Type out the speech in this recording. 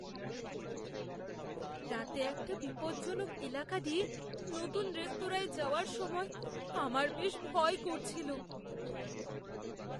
রাতে একটা বিপজ্জনক এলাকা দিয়ে নতুন রেস্তোরাঁয় যাওয়ার সময় আমার বেশ ভয় করছিল।